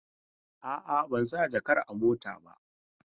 A'a, ban sa jakar a mota ba.